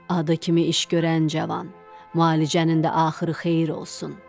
Adı kimi iş görən cavan, müalicənin də axırı xeyir olsun.